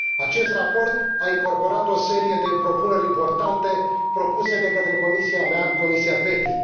Acest raport a încorporat o serie de propuneri importante propuse de către comisia mea, Comisia PETI.